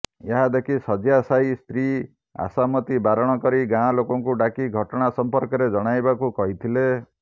ଏହାଦେଖି ଶଯ୍ୟାଶାୟୀ ସ୍ତ୍ରୀ ଆଶାମତୀ ବାରଣ କରି ଗାଁଲୋକଙ୍କୁ ଡ଼ାକି ଘଟଣା ସମ୍ପର୍କରେ ଜଣାଇବାକୁ କହିଥିଲେ